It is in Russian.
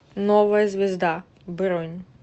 новая звезда бронь